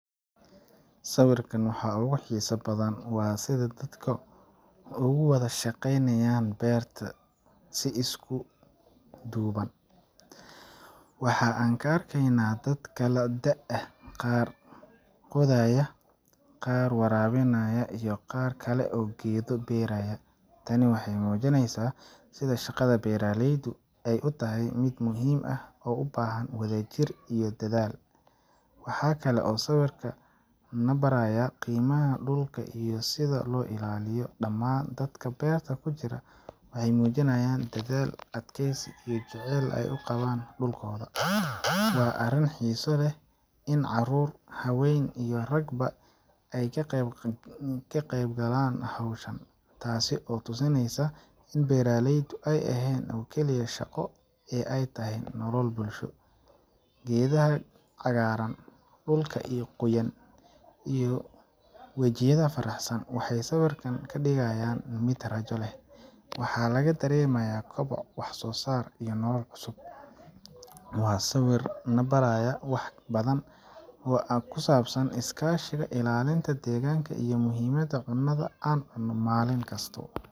Sawirkan waxa ugu xiisaha badan waa sida dadka ugu wada shaqeynayaan beerta si isku duuban. Waxa aan ka arkaynaa dad kala da’ ah qaar qodaya, qaar waraabinaya, iyo qaar kale oo geedo beeraaya. Tani waxay muujinaysaa sida shaqada beeralaydu ay u tahay mid muhiim ah oo u baahan wadajir iyo dedaal. Waxa kale oo sawirku na barayaa qiimaha dhulka iyo sida loo ilaaliyo. Dhammaan dadkan beerta ku jira waxay muujinayaan dadaal, adkeysi, iyo jacaylka ay u qabaan dhulkooda. Waa arrin xiiso leh in carruur, haween iyo ragba ay qeyb galaan hawshan, taas oo tusinaysa in beeralaydu ay ahayn oo keliya shaqo ee ay tahay nolol bulsho. Geedaha cagaaran, dhulka qoyan, iyo wejiyada faraxsan waxay sawirka ka dhigayaan mid rajo leh. Waxaa laga dareemayaa koboc, wax soo saar iyo nolol cusub. Waa sawir na baraya wax badan oo ku saabsan iskaashi, ilaalinta deegaanka, iyo muhiimadda cunnada aan cuno maalin kasta.